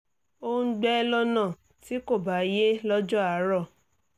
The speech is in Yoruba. ó ń gbẹ́ lọ́nà tí kò bá yé lọ́jọ́ àárọ̀